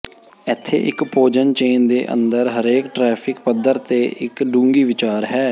ਇੱਥੇ ਇੱਕ ਭੋਜਨ ਚੇਨ ਦੇ ਅੰਦਰ ਹਰੇਕ ਟ੍ਰਾਫੀਿਕ ਪੱਧਰ ਤੇ ਇੱਕ ਡੂੰਘੀ ਵਿਚਾਰ ਹੈ